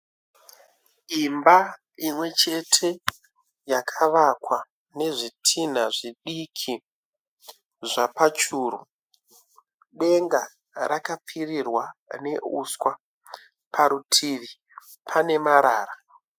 Imba imwechete yakavakwa nezvitinha zvidiki zvapachuru. Denga rakapfirirwa neuswa parutivi pane marara.